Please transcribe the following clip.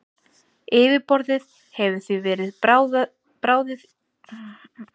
Yfirborðið hefur því verið bráðið í árdaga sólkerfisins.